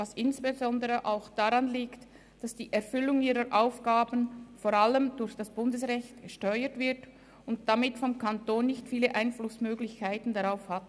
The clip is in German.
Dies liegt insbesondere auch daran, dass die Erfüllung ihrer Aufgaben vor allem durch das Bundesrecht gesteuert wird und der Kanton damit nicht viele Einflussmöglichkeiten hat.